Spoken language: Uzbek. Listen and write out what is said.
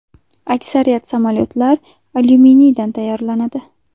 Aksariyat samolyotlar alyuminiydan tayyorlanadi.